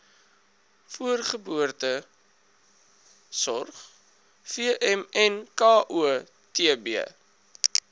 voorgeboortesorg vmnko tb